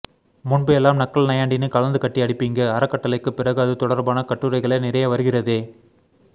முன்பு எல்லாம் நக்கல் நையாண்டினு கலந்து கட்டி அடிப்பீங்க அறக்கட்டளை க்கு பிறகு அது தொடர்பான கட்டுரைகளே நிறைய வருகிறதெ